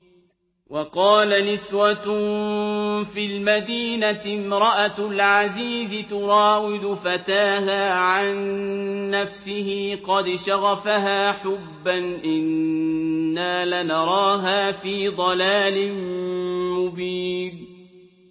۞ وَقَالَ نِسْوَةٌ فِي الْمَدِينَةِ امْرَأَتُ الْعَزِيزِ تُرَاوِدُ فَتَاهَا عَن نَّفْسِهِ ۖ قَدْ شَغَفَهَا حُبًّا ۖ إِنَّا لَنَرَاهَا فِي ضَلَالٍ مُّبِينٍ